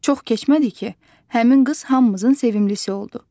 Çox keçmədi ki, həmin qız hamımızın sevimlisi oldu.